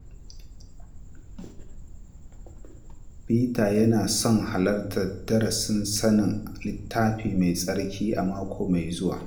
Peter yana son halartar darasin sanin Littafi Mai Tsarki a mako mai zuwa.